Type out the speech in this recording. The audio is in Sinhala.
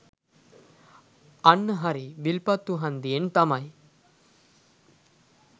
අන්න හරි විල්පත්තු හන්දියෙන් තමයි